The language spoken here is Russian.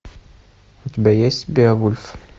у тебя есть беовульф